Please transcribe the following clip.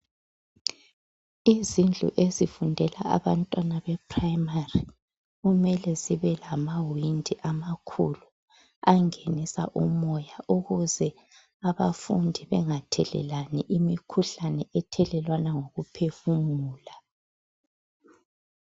Izindlu ezifundela abantwana bePrimary, kumele zibe lamawindi amakhulu angenisa umoya ukuze abafundi bengathelelani imikhuhlane ethelelwana ngokuphefumula.